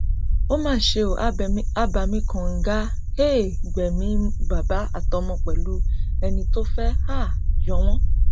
ó mà ṣe ó abàmì kànga um gbẹmí bàbá àtọmọ pẹlú ẹni tó fẹẹ um yọ wọn